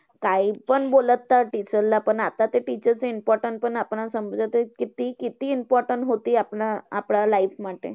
कायपण बोलता teacher ला. पण आता ते teacher चं important पण आपल्याला समजतंय, कि ते किती important होती आपल्या आपल्या life मध्ये.